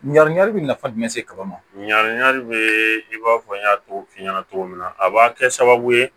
Ɲinigali bɛ nafa jumɛn se kaba ma ɲan bɛ i b'a fɔ n y'a fɔ f'i ɲɛna cogo min na a b'a kɛ sababu ye